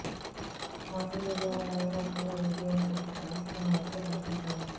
social మీడియాలో viral అవుతున్న ఈ వీడియోని చూసి ఫ్యాన్స్ తెగ ముచ్చట పడిపోతున్నారు